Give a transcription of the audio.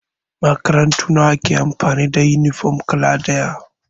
Makarantu nawa ke amfani da yunifom kala ɗaya?